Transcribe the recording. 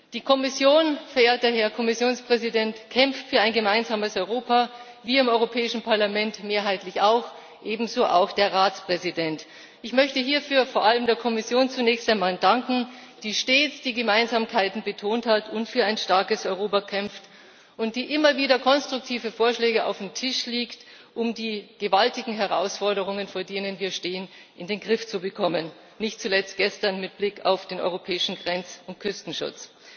Die Kommission, verehrter Herr Kommissionspräsident, kämpft für ein gemeinsames Europa, wir im Europäischen Parlament mehrheitlich auch, ebenso auch der Ratspräsident. Ich möchte hierfür zunächst einmal vor allem der Kommission danken, die stets die Gemeinsamkeiten betont hat und für ein starkes Europa kämpft und die immer wieder konstruktive Vorschläge auf den Tisch legt, um die gewaltigen Herausforderungen vor denen wir stehen, in den Griff zu bekommen nicht zuletzt gestern, mit Blick auf den europäischen Grenz und Küstenschutz.